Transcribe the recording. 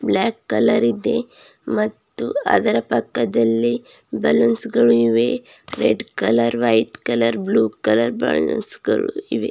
Block colour ಇದೆ ಮತ್ತು ಅದರ ಪಕ್ಕದಲ್ಲಿ ಬಲೂನ್ಸ್ ಗಳು ಇವೆ red colour white colour blue colour balloons ಗಳು ಇವೆ.